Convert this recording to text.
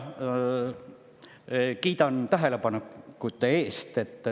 Kiidan tähelepaneku eest!